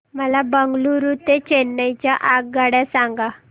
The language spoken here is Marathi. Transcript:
मला बंगळुरू ते चेन्नई च्या आगगाड्या सांगा